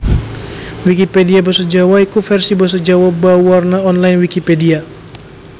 Wikipedia basa Jawa iku vèrsi basa Jawa bauwarna online Wikipedia